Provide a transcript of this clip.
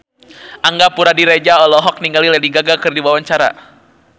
Angga Puradiredja olohok ningali Lady Gaga keur diwawancara